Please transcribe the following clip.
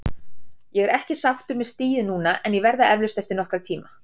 Ég er ekki sáttur með stigið núna en ég verð það eflaust eftir nokkra tíma.